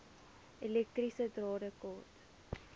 elektriese drade kort